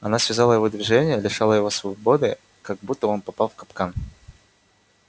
она связывала его движения лишала его свободы как будто он попал в капкан